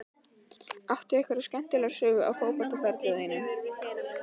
Áttu einhverja skemmtilega sögu af fótboltaferli þínum?